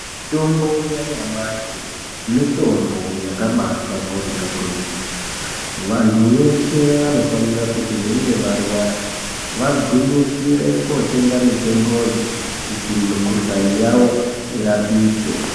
Mitombo yanyamashi mitombo yakabashamburika kwemene ,vantu veshe vanofanira kuti veinge varwara vagwinyisire kotenga mitomboyo kuti mukuhlani yavo irapike.